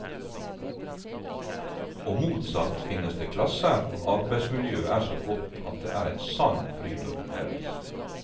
Og motsatt finnes det klasser hvor arbeidsmiljøet er så godt at det er en sann fryd å undervise.